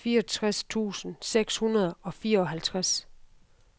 fireogtres tusind seks hundrede og fireoghalvtreds